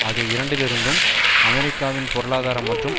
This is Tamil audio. ஆகிய இரண்டிலிருந்தும் அமெரிக்காவின் பொருளாதார மற்றும்